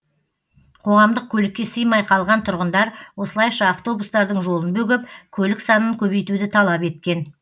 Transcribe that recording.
қоғамдық көлікке сыймай қалған тұрғындар осылайша автобустардың жолын бөгеп көлік санын көбейтуді талап еткен